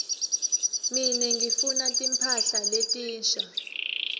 mine ngifuna timphahla letinsha